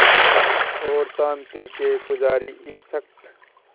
और शांति के पुजारी इस शख़्स